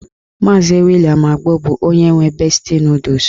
Maazi William Agbo bụ onye nwe besti nọdụs.